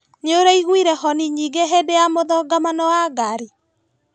Nĩũraiguire honi nyingĩ hĩndĩ ya mũthongamano wa ngari?